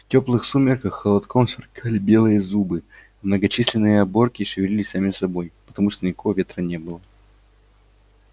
в тёплых сумерках холодком сверкали белые зубы а многочисленные оборки шевелились сами собой потому что никакого ветра не было